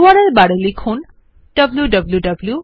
URL bar এ লিখুন wwwgooglecom